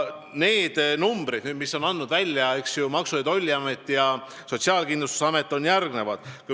Need numbrid, mis on andnud välja Maksu- ja Tolliamet ja Sotsiaalkindlustusamet, on järgmised.